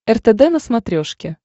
ртд на смотрешке